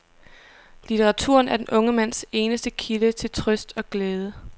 Litteraturen er den unge mands eneste kilde til trøst og glæde.